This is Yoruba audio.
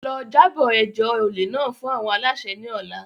Lọ, jabo ẹjọ ole náà fun awọn alaṣẹ ni ọla!